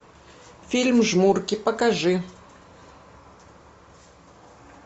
фильм жмурки покажи